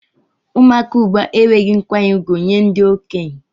Ụmụaka ugbua enwehi nkwanye ugwu nye ndi okenye.